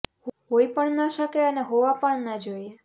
હોઈ પણ ન શકે અને હોવા પણ ન જોઈએ